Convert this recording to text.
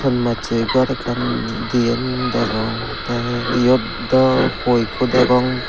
tonmasay gor ekan diane degong tay iote dow how eko degong.